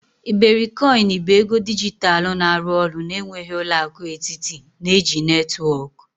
iberikoin bụ ego dijitalụ na-arụ ọrụ na-enweghị ụlọ akụ etiti, na-eji netwọk.